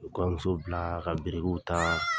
U ye kɔɲɔmuso bila ka birikiw ta.